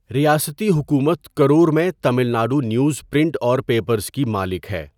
ریاستی حکومت کرور میں تمل ناڈو نیوز پرنٹ اور پیپرز کی مالک ہے۔